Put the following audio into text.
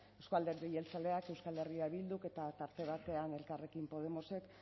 euzko alderdi jeltzaleak euskal herria bilduk eta tarte batean elkarrekin podemosek